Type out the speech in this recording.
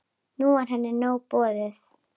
Nú var henni nóg boðið.